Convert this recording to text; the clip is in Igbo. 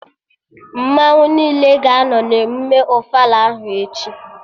Mmanwụ niile ga-anọ na emụme ofala ahụ echi